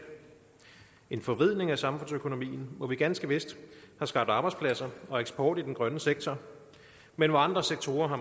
en forvridning af samfundsøkonomien hvor vi ganske vist har skabt arbejdspladser og eksport i den grønne sektor men hvor andre sektorer har